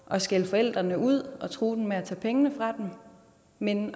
at skælde forældrene ud og true med at tage pengene fra dem men